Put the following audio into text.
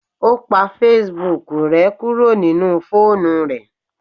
O pa Facebook rẹ kuro ninu foonu rẹ.